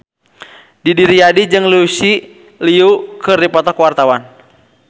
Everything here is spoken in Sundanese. Didi Riyadi jeung Lucy Liu keur dipoto ku wartawan